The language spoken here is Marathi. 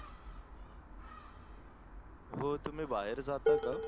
हो तुम्ही बाहेर जाता का?